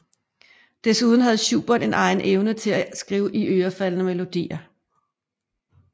Desuden havde Schubert en egen evne til at skrive iørefaldende melodier